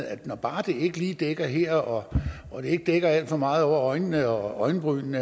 at når bare det ikke lige dækker her og og det ikke dækker alt for meget over øjnene og øjenbrynene